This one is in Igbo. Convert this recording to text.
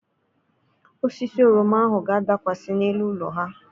Osisi oroma ahụ ga-adakwasị n'elu ụlọ ha.